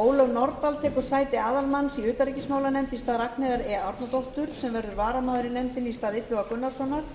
ólöf nordal tekur sæti aðalmanns í utanríkismálanefnd í stað ragnheiðar e árnadóttur sem verður varamaður í nefndinni í stað illuga gunnarssonar